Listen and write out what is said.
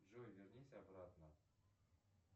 джой вернись обратно